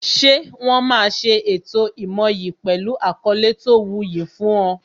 Ṣé wọn máa ṣe ètò ìmoyì pẹlu àkọlé tó wu yi fún ọ